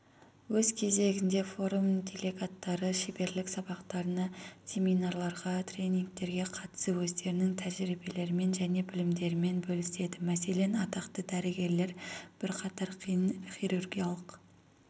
өз кезегінде форум делегаттары шеберлік сабақтарына семинарларға тренингтерге қатысып өздерінің тәжірибелерімен және білімдерімен бөліседі мәселен атақты дәрігерлер бірқатар қиын хирургиялық